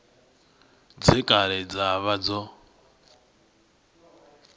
dze kale dza vha dzo